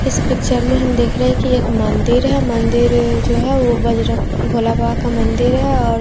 इस पिक्चर में हम देख रहे हैं कि एक मंदिर है मंदिर जो है वह भोला बाबा का मंदिर है और--